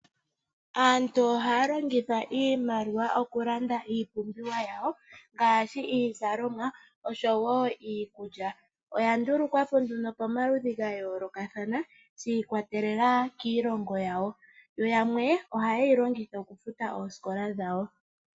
Aantu ohaya longitha iimaliwa, okulanda iipumbiwa yawo ngaashi, iizalomwa, oshowo iikulya. Oya ndulukwapo nduno pamaludhi gayoolokathana, shi ikwatelela kiilongo yawo. Yamwe ohayeyi longitha okufuta oosikola dhawo.